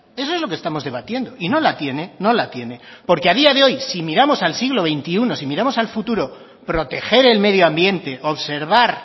eso es lo que estamos debatiendo y no la tiene no la tiene porque a día de hoy si miramos al siglo veintiuno si miramos al futuro proteger el medio ambiente observar